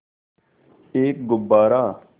एक गुब्बारा